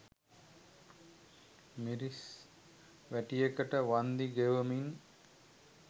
මිරිස් වැටියකට වන්දි ගෙවමින්